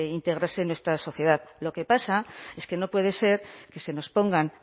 integrarse en nuestra sociedad lo que pasa es que no puede ser que se nos pongan